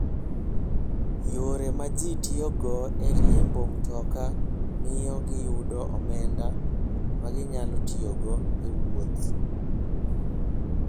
Yore ma ji tiyogo e riembo mtokni miyo giyudo omenda ma ginyalo tiyogo e wuoth.